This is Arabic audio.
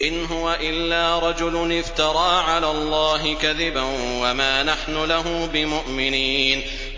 إِنْ هُوَ إِلَّا رَجُلٌ افْتَرَىٰ عَلَى اللَّهِ كَذِبًا وَمَا نَحْنُ لَهُ بِمُؤْمِنِينَ